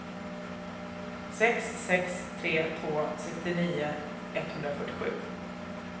sex sex tre två sextionio etthundrafyrtiosju